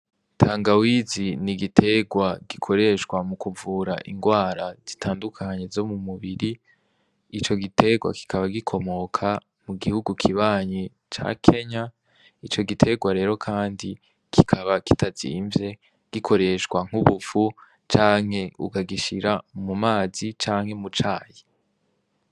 Tanga wizi ni igiterwa gikoreshwa mu kuvura ingwara zitandukanye zo mu mubiri ico gitegwa kikaba gikomoka mu gihugu kibanyi ca kenya ico giterwa rero, kandi kikaba kitazimvye gikoreshwa nk'ubupfu canke ugagishira mu mana azi canke mucaye.